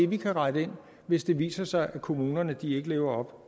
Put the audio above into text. vi kan rette ind hvis det viser sig at kommunerne ikke lever op